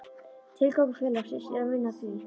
Tilgangur félagsins er að vinna að því: